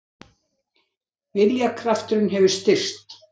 Viljakrafturinn hefur styrkst.